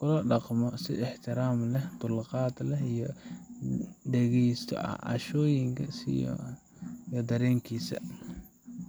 lala dhaqmo si ixtiraam leh, dulqaad leh, lana dhageysto cabashooyinkiisa iyo dareenkiisa